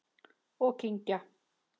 Og kyngja.